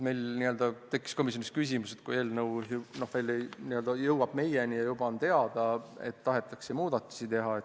Meil tekkis komisjonis küsimus, et eelnõu jõudis meieni, aga juba on teada, et tahetakse muudatusi teha.